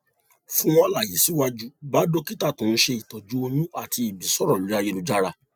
fún àlàyé síwájú bá dókítà tó ń ṣe ìtọjú oyún àti ìbí sọrọ lórí ayélujára